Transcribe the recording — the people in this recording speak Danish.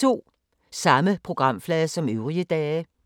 Samme programflade som øvrige dage